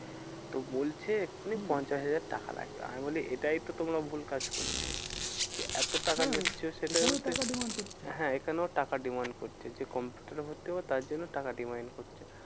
তো বোলছে এক্ষুনি হম পঞ্চাশ হাজার টাকা লাগবে। আমি বলি এটাই তো তোমরা ভুল কাজ করছো। কি এত টাকা হ্যাঁ নিচ্ছো সেটার এখানেও টাকার demand করছে। হ্যাঁ এখানেও টাকার demand করছে। যে কম্পিউটারে ভর্তি হবো তার জন্যও টাকার demand করছে।